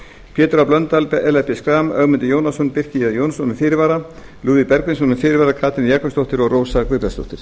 pétur h blöndal ellert b schram ögmundur jónasson birki j jónsson með fyrirvara lúðvík bergvinsson með fyrirvara katrín jakobsdóttir og rósa guðbjartsdóttir